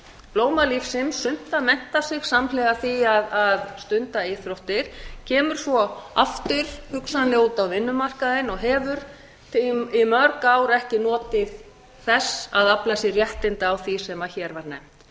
blóma lífsins sumt að mennta sig samhliða því að stunda íþróttir kemur svo aftur hugsanlega út á vinnumarkaðinn og hefur í mörg ár ekki notið þess að afla sér réttinda á því sem hér